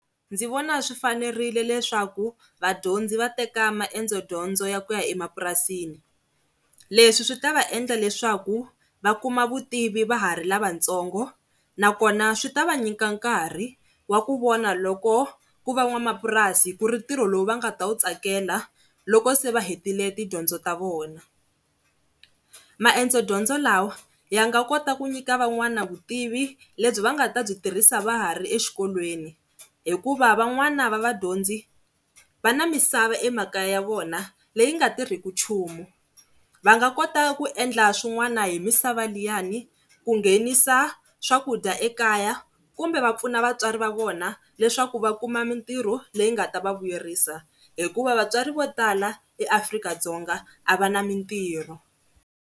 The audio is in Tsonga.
Ndzi vona swi fanerile leswaku vadyondzi va teka maendzo dyondzo ya ku ya emapurasini. Leswi swi ta va endla leswaku va kuma vutivi va ha ri lavatsongo nakona swi ta va nyika nkarhi wa ku vona loko ku va n'wamapurasi ku ri ntirho lowu va nga ta wu tsakela loko se va hetile tidyondzo ta vona. Maendzo dyondzo lawa ya nga kota ku nyika van'wana vutivi lebyi va nga ta byi tirhisa va ha ri exikolweni hikuva van'wana va vadyondzi va na misava emakaya ya vona leyi nga tirhiku nchumu, va nga kota ku endla swin'wana hi misava liyani ku nghenisa, swakudya ekaya kumbe va pfuna vatswari va vona leswaku va kuma mitirho leyi nga ta va vuyerisa hikuva vatswari vo tala eAfrika-Dzonga a va na mitirho.